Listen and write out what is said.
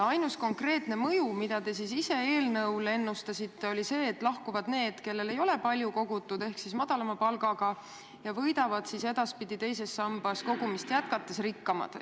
Ainus konkreetne mõju, mida te ise eelnõu esitades ennustasite, on see, et lahkuvad inimesed, kellel ei ole palju kogutud, ehk siis madalama palga saajad, ja võidavad teises sambas kogumist jätkates rikkamad.